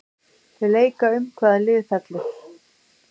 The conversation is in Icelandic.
Þau leika um hvaða lið fellur.